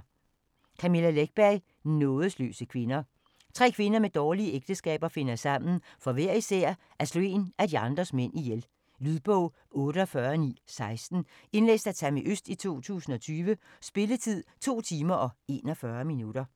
Läckberg, Camilla: Nådesløse kvinder Tre kvinder med dårlige ægteskaber finder sammen for hver især at slå en af de andres mænd ihjel. Lydbog 48916 Indlæst af Tammi Øst, 2020. Spilletid: 2 timer, 41 minutter.